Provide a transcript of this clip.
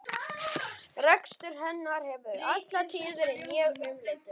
Rekstur hennar hefur alla tíð verið mjög umdeildur.